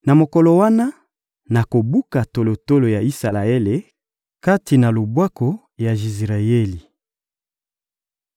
Na mokolo wana, nakobuka tolotolo ya Isalaele kati na lubwaku ya Jizireyeli.